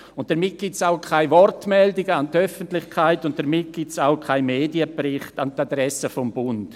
Damit gibt es auch keine Wortmeldungen an die Öffentlichkeit und somit auch keinen Medienbericht an die Adresse des Bundes.